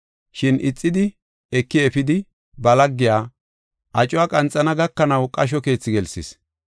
“Shin ixidi eki efidi ba laggey acuwa qanxana gakanaw qasho keethi gelsis.